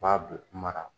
U b'a bɛɛ mara